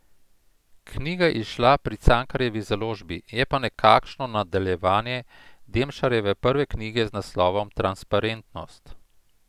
Knjiga je izšla pri Cankarjevi založbi, je pa nekakšno nadaljevanje Demšarjeve prve knjige z naslovom Transparentnost.